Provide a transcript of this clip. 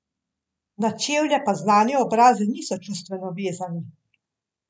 Na čevlje pa znani obrazi niso čustveno vezani.